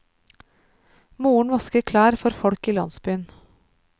Moren vasker klær for folk i landsbyen.